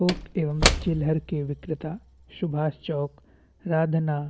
थोक एवं चिलर के विक्रेता सुभाष चौक रांधना --